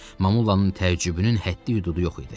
Mamullanın təəccübünün həddi-hüdudu yox idi.